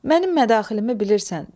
Mənim mədaxilimi bilirsən.